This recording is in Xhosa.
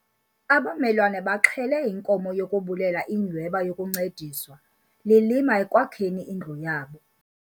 Abamelwana baxhele inkomo yokubulela inyhweba yokuncediswa lilima ekwakheni indlu yabo.